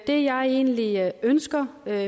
det jeg egentlig ønsker er